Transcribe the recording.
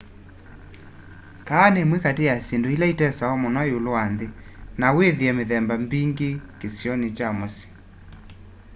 kahawa ni imwe kati ya syindũ ika itesewa mũno iũlu wa nthi na withie mithemba mbingi kisioni kya mũsyi